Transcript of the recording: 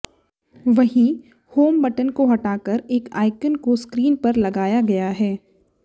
वहीं home button को हटाकर एक आइकन को स्क्रीन पर लगाया गया है